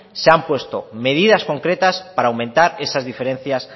se han puesto medidas concretas para aumentar esas diferencias